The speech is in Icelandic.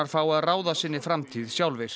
fái að ráða sinni framtíð sjálfir